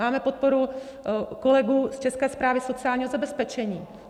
Máme podporu kolegů z České správy sociálního zabezpečení.